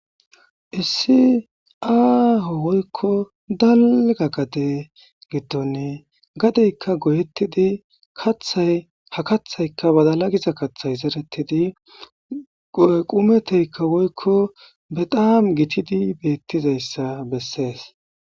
Issi aaho woykko dalga gade giddon, gadeykka goyettidi kathay ha kaththaykka badala giza kaththay zerettidi qumeteyikka woyiko bexaam gitidi de7izaysa bessees.